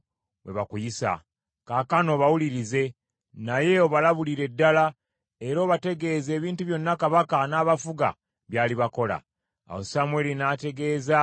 Awo Samwiri n’ategeeza abantu abaali bamusaba kabaka, ebigambo byonna Mukama bye yamugamba.